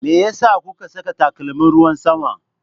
Me yasa kuka saka takalmin ruwan sama?